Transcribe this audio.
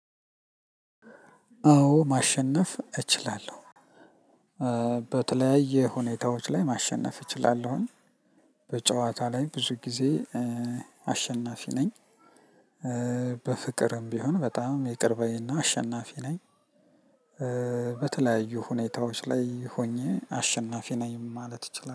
አዎ ማሸነፍ እችላለሁ። በተለያየ ሁኔታዎች ላይ ማሸነፍ እችላለሁኝ። በጨዋታ ላይ ብዙ ጊዜ አሸናፊ ነኝ። በፍቅርም ቢሆን በጣም ይቅር ባይ እና አሸናፊ ነኝ። በተለያዩ ሁኔታዎች ላይ ሆኜ አሸናፊ ነኝ ማለት እችላ